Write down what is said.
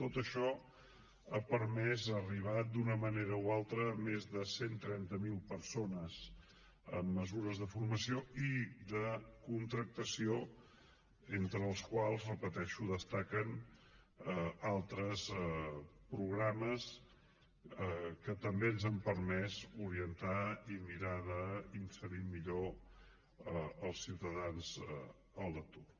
tot això ha permès arribar d’una manera o altra a més de cent i trenta miler persones amb mesures de formació i de contractació entre les quals ho repeteixo destaquen altres programes que també ens han permès orientar i mirar d’inserir millor els ciutadans a l’atur